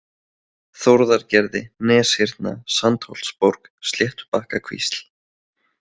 Þórðargerði, Neshyrna, Sandsholtsborg, Sléttubakkakvísl